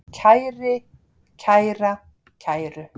kæri, kæra, kæru